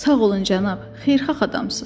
Sağ olun cənab, xeyirxah adamsınız.